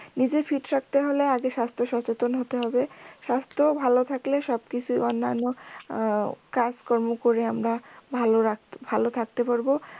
নিজে fit রাখতে হলে আগে স্বাস্থ সচেতন হতে হবে স্বাস্থ ভালো থাকলে সব কিছু অন্যান্য আহ কাজ কর্ম করে আমরা ভালো রাখতে ভালো থাকতে পারবো